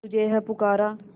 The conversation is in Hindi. तुझे है पुकारा